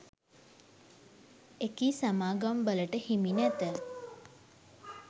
එකී සමාගම්වලට හිමි නැත.